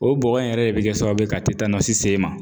O bɔgɔ in yɛrɛ de be kɛ sababu ye ka se i ma.